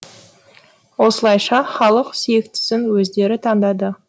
осылайша халық сүйіктісін өздері таңдады